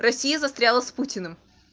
россия застряла с путиным